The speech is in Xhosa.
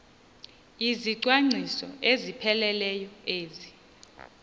izicwangciso ezipheleleyo ezi